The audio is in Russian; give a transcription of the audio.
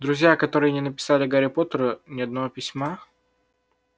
друзья которые не написали гарри поттеру ни одного письма